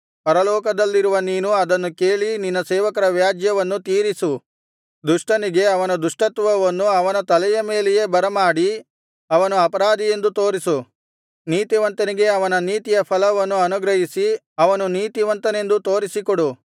ಪರಲೋಕದಲ್ಲಿರುವ ನೀನು ಅದನ್ನು ಕೇಳಿ ನಿನ್ನ ಸೇವಕರ ವ್ಯಾಜ್ಯವನ್ನು ತೀರಿಸು ದುಷ್ಟನಿಗೆ ಅವನ ದುಷ್ಟತ್ವವನ್ನು ಅವನ ತಲೆಯ ಮೇಲೆಯೇ ಬರಮಾಡಿ ಅವನು ಅಪರಾಧಿಯೆಂದು ತೋರಿಸು ನೀತಿವಂತನಿಗೆ ಅವನ ನೀತಿಯ ಫಲವನ್ನು ಅನುಗ್ರಹಿಸಿ ಅವನು ನೀತಿವಂತನೆಂದೂ ತೋರಿಸಿಕೊಡು